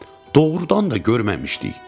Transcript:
Doğrudan da görməmişdik.